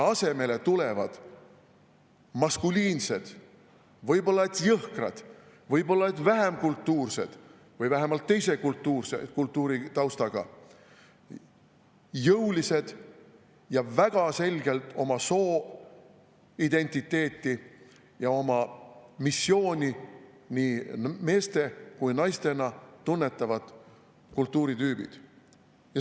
Asemele tulevad maskuliinsed, võib-olla jõhkrad, võib-olla vähem kultuursed või vähemalt teise kultuuritaustaga, jõulised, väga selgelt oma sooidentiteeti ja oma missiooni nii meeste kui ka naistena tunnetavad kultuuritüübid.